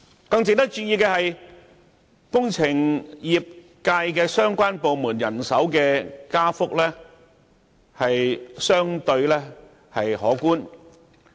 "更值得注意的是，與工程業界相關的部門人手加幅亦相對可觀。